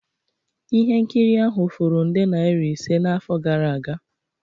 Ihe nkiri ahụ furu nde naira ise n'afọ gara aga